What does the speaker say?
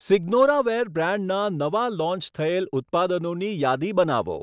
સીગ્નોરાવેર બ્રાન્ડના નવા લોન્ચ થયેલ ઉત્પાદનોની યાદી બનાવો.